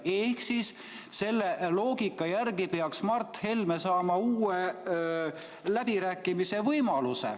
Ehk siis selle loogika järgi peaks Mart Helme saama uue läbirääkimise võimaluse.